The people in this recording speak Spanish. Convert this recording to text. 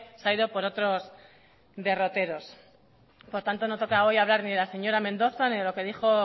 se ha ido por otros derroteros por tanto no toca hoy hablar ni de la señora mendoza ni de lo que dijo